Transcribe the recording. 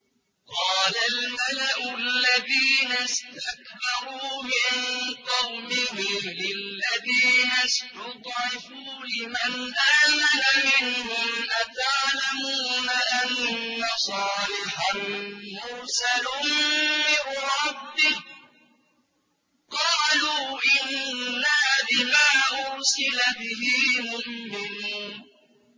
قَالَ الْمَلَأُ الَّذِينَ اسْتَكْبَرُوا مِن قَوْمِهِ لِلَّذِينَ اسْتُضْعِفُوا لِمَنْ آمَنَ مِنْهُمْ أَتَعْلَمُونَ أَنَّ صَالِحًا مُّرْسَلٌ مِّن رَّبِّهِ ۚ قَالُوا إِنَّا بِمَا أُرْسِلَ بِهِ مُؤْمِنُونَ